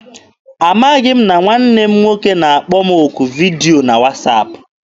Amaghị m na nwanne m nwoke na-akpọ m okwu vidio na wasaapụ.